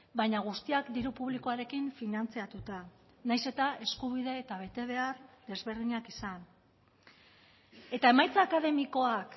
baina guztiak diru publikoarekin finantzatuta nahiz eta eskubide eta betebehar desberdinak izan eta emaitza akademikoak